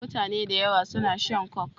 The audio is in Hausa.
Mutane dayawa suna shan coke